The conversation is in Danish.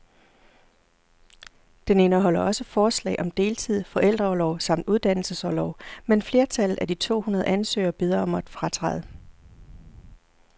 Den indeholder også forslag om deltid, forældreorlov samt uddannelsesorlov, men flertallet af de to hundrede ansøgere beder om at fratræde.